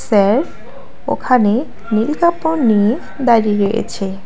ওখানে নীল কাপড় নিয়ে দাঁড়িয়েছে।